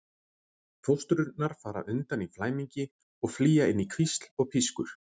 Fóstrurnar fara undan í flæmingi og flýja inn í hvísl og pískur.